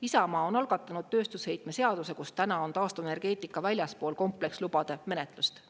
Isamaa on algatanud tööstusheitme seaduse, kus täna on taastuvenergeetika väljaspool komplekslubade menetlust.